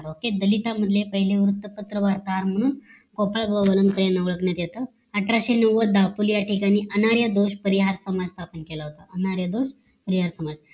OKAY दलित मधले पहीले वृत्तपत्र वार्ताहर म्हणून गोपाळ गोवनकर यांना ओळखण्यात येत अठराशे नव्वद दपोल या ठिकाणी अनार या दोष परिहार स्थापन केलं होत हे यात पाहूअनार्यांदोर परिहार